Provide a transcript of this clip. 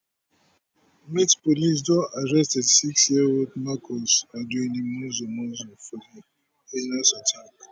met police don arrest thirty six year old marcus arduini monzo monzo for di attack